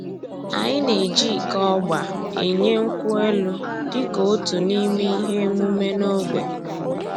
Anyị na-eji iko ọgba enye nkwụ elụ dịka otu n'ime ihe emume n'ogbe